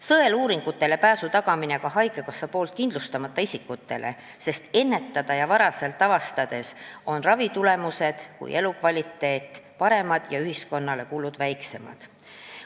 Sõeluuringutele pääs tuleb tagada ka haigekassas kindlustamata isikutele, sest haiguse varaselt avastamise korral on nii ravitulemused kui ka elukvaliteet paremad ja ühiskonna kulud väiksemad.